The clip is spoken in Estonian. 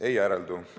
Ei järeldu!